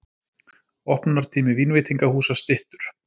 Opnunartími vínveitingahúsa styttur